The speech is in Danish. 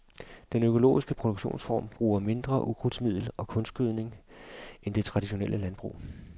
Den økologiske produktionsform bruger mindre ukrudtsmiddel og kunstgødning end det traditionelle landbrug.